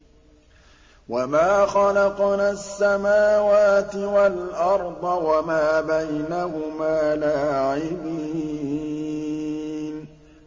وَمَا خَلَقْنَا السَّمَاوَاتِ وَالْأَرْضَ وَمَا بَيْنَهُمَا لَاعِبِينَ